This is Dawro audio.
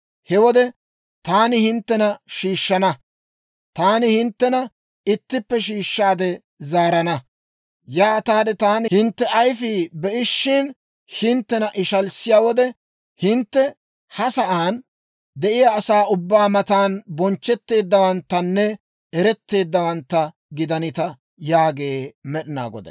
He wode taani hinttena shiishshana; taani hinttena ittippe shiishshaade zaarana; yaataade taani hintte ayfii be'ishin hinttena ishalissiyaa wode, hintte ha sa'aan de'iyaa asaa ubbaa matan bonchchetteeddawanttanne eretteeddawantta gidanita» yaagee Med'inaa Goday.